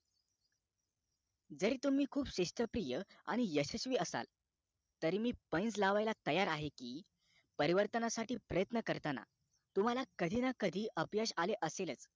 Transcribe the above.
जर तुम्ही खूप शिस्तप्रिया आणि यशस्वी असाल तरी मी पैंज लावायला तयार आहे कि परिवर्तनासाठी प्रयत्न करताना तुम्हाला कधी ना कधी अपयश आले असेलच